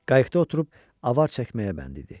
Qayıqda oturub avar çəkməyə bənd idi.